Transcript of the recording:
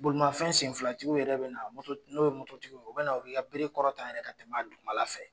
Bolimafɛn senfilatigi yɛrɛ bɛ na n'o ye mototigiw o bɛ na u bi ka bere kɔrɔta yɛrɛ ka tɛmɛ duguma la fɛ.